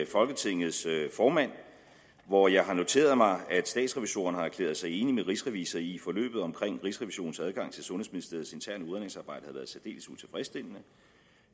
folketingets formand hvor jeg har noteret mig at statsrevisorerne har erklæret sig enige med rigsrevisor i at forløbet omkring rigsrevisionens adgang til sundhedsministeriets interne udredningsarbejde har været særdeles utilfredsstillende